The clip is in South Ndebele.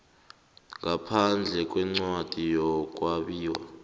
ngaphandle kwencwadi yokwabiwa